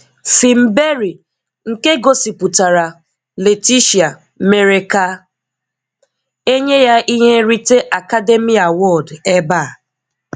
Fim Berry nke gosipụtara “Leticia” mèrè ka e nye ya ihe nrite Academy Award ebe a.